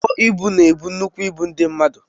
Ụgbọ ịbụ na ebu nnukwu ịbụ ndị mmadụ.